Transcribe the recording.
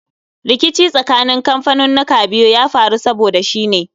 Rikici tsakanin kamfaninnika biyun ya faru saboda shi ne